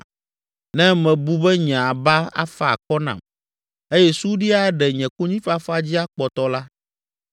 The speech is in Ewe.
Ne mebu be nye aba afa akɔ nam eye suɖi aɖe nye konyifafa dzi akpɔtɔ la,